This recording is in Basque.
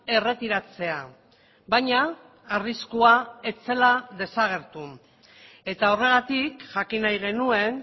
erretiratzea baina arriskua ez zela desagertu eta horregatik jakin nahi genuen